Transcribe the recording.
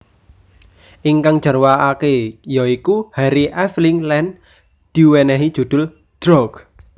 Ingkang jarwakake ya iku Harry Aveling lan diwenehi judul Drought